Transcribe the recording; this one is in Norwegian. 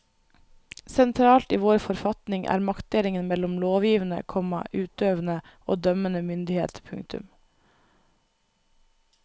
Sentralt i vår forfatning er maktdelingen mellom lovgivende, komma utøvende og dømmende myndighet. punktum